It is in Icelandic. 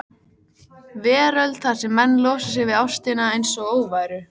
veröld þar sem menn losa sig við ástina einsog óværu.